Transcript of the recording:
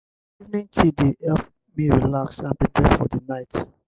evening tea dey help me relax and prepare for the night.